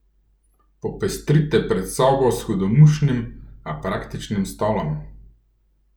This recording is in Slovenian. Popestrite predsobo s hudomušnim, a praktičnim stolom!